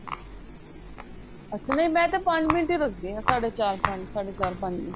ਅੱਛਾ ਨੀਂ ਮੈਂ ਤੇ ਪੰਜ ਮਿੰਟ ਹੀ ਰੱਖਦੀ ਆ ਸਾਡੇ ਚਾਰ ਪੰਜ ਸਾਡੇ ਚਾਰ ਪੰਜ